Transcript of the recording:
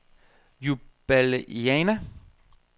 Ljubljana